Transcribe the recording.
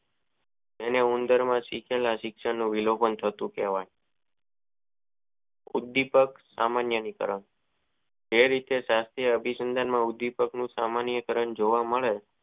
આને ઉંદરો માં શીખવા શીખવ વિલોપન થતું જોવા મળે છે ઉદીપ્ત સામાન્ય રીતે જે રીતે અભિસમજમાં ઉદીપકવ સામાન્ય રંગ જોવા મળે.